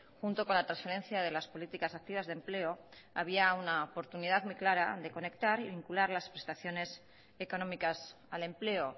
junto con la transferencia de las políticas activas de empleo había una oportunidad muy clara de conectar y vincular las prestaciones económicas al empleo